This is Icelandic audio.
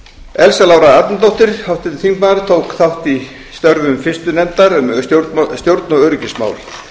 elsa lára arnardóttir háttvirtur þingmaður tók þátt í störfum fyrstu nefndar um stjórn og öryggismál